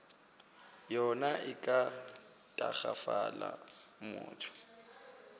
yona e ka tagafala motho